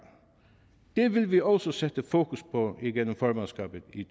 det vil vi også sætte fokus på igennem formandskabet i